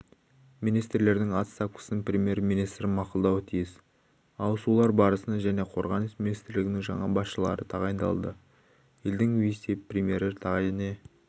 министрлердің отставкасын премьер-министр мақұлдауы тиіс ауысулар барысында және қорғаныс министрлігінің жаңа басшылары тағайындалады елдің вице-премьері және